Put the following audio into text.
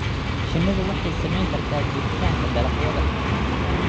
Shinnidu waxay saamayn kartaa jiritaanka dalagyada.